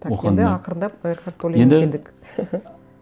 так енді ақырындап экхарт толлеге келдік енді